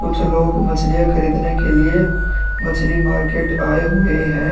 कुछ लोग मछलियां खरीदने के लिए मछली मार्केट आए हुए हैं।